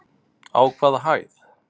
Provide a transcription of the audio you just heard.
Á hvaða hæð?